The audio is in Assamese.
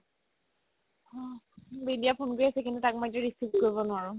বিদ্যা phone কৰি আছে কিন্তু তাক মই এতিয়া receive কৰিব নোৱাৰো